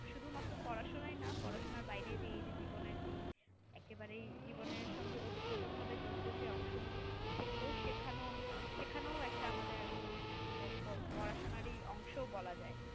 শুধুমাত্র পড়াশুনায় না পড়াশোনার বাইরে যে এই যে জীবনের এই একেবারেই জীবনের সঙ্গে অতপ্রতভাবে জড়িত যে অংশগুলো সেগুলো শেখানো শেখানো ও একটা আমাদের আসলে পড়াশুনারই অংশ বলা যায়